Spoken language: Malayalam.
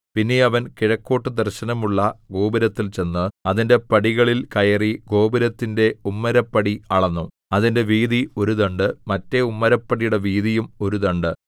പിന്നെ അവൻ കിഴക്കോട്ടു ദർശനമുള്ള ഗോപുരത്തിൽ ചെന്ന് അതിന്റെ പടികളിൽ കയറി ഗോപുരത്തിന്റെ ഉമ്മരപ്പടി അളന്നു അതിന്റെ വീതി ഒരു ദണ്ഡ് മറ്റെ ഉമ്മരപ്പടിയുടെ വീതിയും ഒരു ദണ്ഡ്